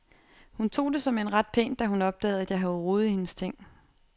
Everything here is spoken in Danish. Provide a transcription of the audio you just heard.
Hun tog det såmænd ret pænt, da hun opdagede at jeg havde rodet i hendes ting.